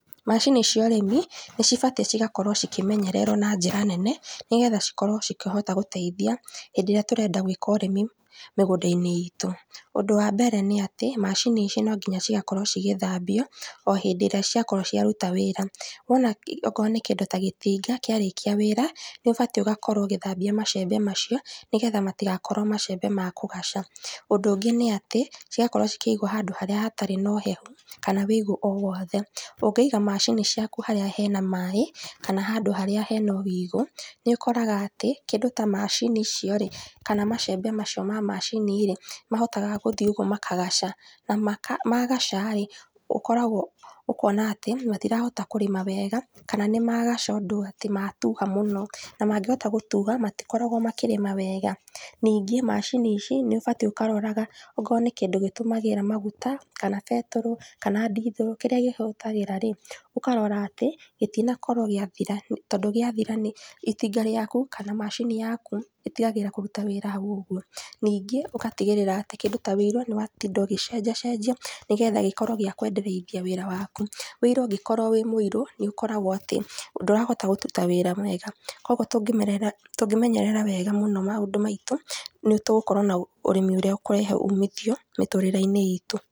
Macini cia ũrĩmi, nĩcibatiĩ cigakorwo cikĩmenyererwo na njĩra nene, nĩgetha cikorwo cikĩhota gũteithia hĩndĩ ĩrĩa tũrenda gwĩka ũrĩmi mĩgũnda-inĩ itũ. ũndũ wambere nĩatĩ, macini ici nonginya cigakorwo cigĩthambio, o hĩndĩ ĩrĩa ciakorwo ciaruta wĩra, wona i okorwo nĩ kĩndũ ta gĩtinga kĩarĩkia wíra, nĩũbatiĩ gũkorwo ũgĩthambia macembe, nĩgetha matigakorwo macembe ma kũgaca, ũndũ ũngĩ nĩatĩ, cigakorwo cikĩigwo handũ harĩa hatarĩ nohehu, kana wũigo o wothe, ũngĩiga macini ciaku harĩa hena maĩ, kana handũ harĩa hena wũigũ, nĩũkoraga atĩ, kĩndũ ta macini icio rĩ, kana macembe macio ma macini rĩ, mahotaga gũthiĩ ũguo makagaca na maka, magaca rĩ, ũkoragwo, ũkona atĩ, matirahota kũrĩma wega, kana nĩmagaca ũndũ atĩ matuha mũno, na mangĩhota gũtuha matikoragwo makĩrĩma wega. Ningĩ macini ici, nĩũbatiĩ ũkaroraga, okorwo nĩ kĩndũ gĩtũmagĩra maguta, kana betũrũ, kana ndithũrũ kĩrĩa kĩhũthagĩra rĩ, ũkarora atĩ, gĩtinakorwo gĩathira, tondũ gĩathira nĩ itinga rĩaku, kana macini yaku itiagĩrĩire kũruta wĩra hau ũguo, ningĩ, ũgatigĩrĩra atĩ, kĩndũ ta wũiro, nĩwatinda ũgĩcenjia cenjia nigetha gĩkorwo gĩa kwendereithia wĩra waku, wũiro ũngĩkorwo wĩ mũirũ, nĩũkoraga atĩ ndũrahota kũruta wĩra mwega, koguo tũngĩmerera tũngĩmenyerera mũno maũndũ maitũ, nĩtũgũkorwo na ũrĩmi ũrĩa ũgukorwo na umithio, mĩtũrĩre-inĩ itũ.